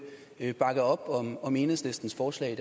bakke op om om enhedslistens forslag